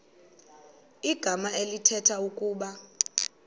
igama elithetha ukuba